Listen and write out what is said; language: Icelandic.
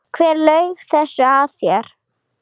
Hver laug þessu að þér?